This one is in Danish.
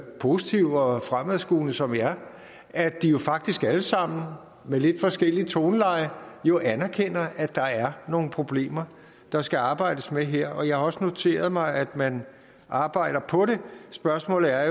positive og fremadskuende som vi er at de jo faktisk alle sammen med lidt forskelligt toneleje anerkender at der er nogle problemer der skal arbejdes med her jeg har også noteret mig at man arbejder på det spørgsmålet er